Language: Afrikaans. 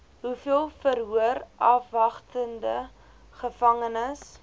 hoeveel verhoorafwagtende gevangenes